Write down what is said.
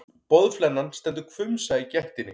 Boðflennan stendur hvumsa í gættinni.